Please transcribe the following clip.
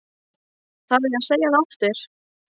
Þarf ég að segja það aftur?